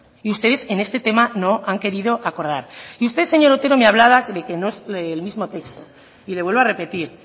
y ustedes en este tema no han querido acordar y usted señor otero me hablaba de que no es el mismo texto y le vuelvo a repetir